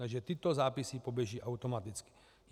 Takže tyto zápisy poběží automaticky.